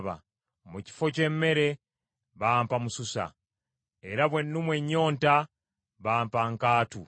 Mu kifo ky’emmere bampa mususa, era bwe nalumwa ennyonta bampa nkaatu.